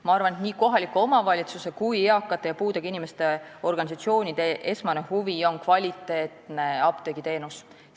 " Ma arvan, et nii kohaliku omavalitsuse kui ka eakate ja puudega inimeste organisatsioonide esmane huvi on kvaliteetne apteegiteenus.